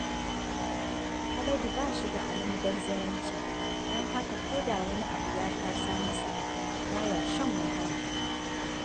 Haladu ba shi da almubazzaranci, don haka ko da wani abu ya taso masa, ba ya shan wahala